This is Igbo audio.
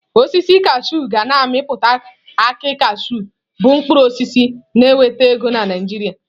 Osisi kashụụ ga na-amịpụta akị kashụụ bụ mkpụrụ osisi na-enweta ego na Naịjirịa.